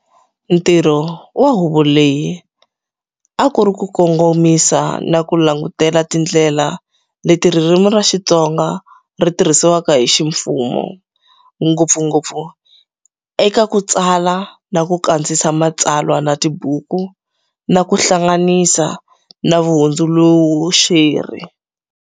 Ntirho wa huvo leyi a ku ri ku kongomisa na ku langutela tindlela leti ririmi ra Xitsonga ri tirhisiwaka hi ximfumo, ngopfungopfu eka ku tsala na ku kandziyisa matsalwa na tibuku ku hlanganisa na vuhundzuluxeri.